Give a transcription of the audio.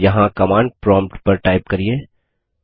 यहाँ command prompt पर type करिये